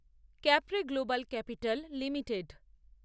Capri global capital limited